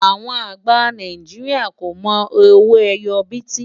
àwọn àgbà Nàìjíríà kò mọ owó ẹyọ biti